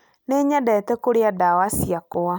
Nĩ nyendete kũrĩa ndwara ciakwa